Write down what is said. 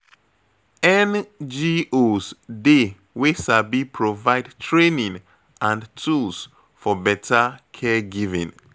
NGOs dey wey sabi provide training and tools for better caregiving